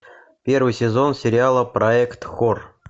первый сезон сериала проект хор